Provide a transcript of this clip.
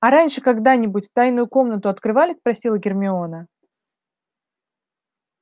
а раньше когда-нибудь тайную комнату открывали спросила гермиона